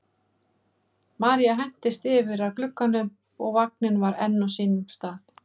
María hentist yfir að glugganum og vagninn var enn á sínum stað.